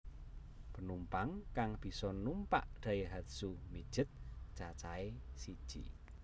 Penumpang kang bisa numpak Daihatsu Midget cacahé siji